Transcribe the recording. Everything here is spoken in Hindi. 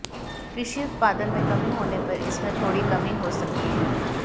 कृषि उत्पादन में कमी होने पर इसमें थोड़ी कमी हो सकती है